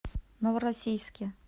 новороссийске